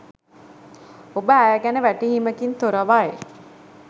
ඔබ ඇය ගැන වැටහීමකින් තොරවයි